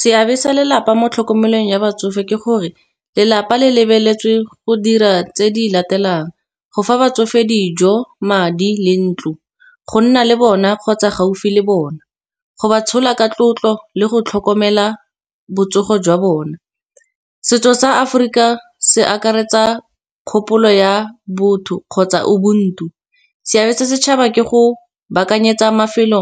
Seabe sa lelapa mo tlhokomelong ya batsofe ke gore lelapa le lebeletswe go dira tse di latelang, go fa batsofe dijo madi le ntlo. Go nna le bona kgotsa gaufi le bona, go ba tshola ka tlotlo le go tlhokomela botsogo jwa bona. Setso sa Aforika se akaretsa kgopolo ya botho kgotsa ubuntu, seabe sa setšhaba ke go baakanyetsa mafelo